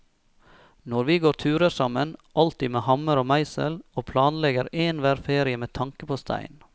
Nå går vi turer sammen, alltid med hammer og meisel, og planlegger enhver ferie med tanke på stein.